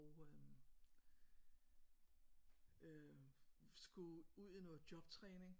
Og øh øh skulle ud i noget jobtræning